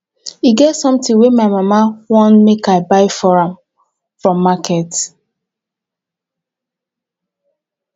e get something wey my mama want make i buy for am from market